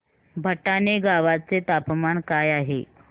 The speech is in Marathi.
भटाणे गावाचे तापमान काय आहे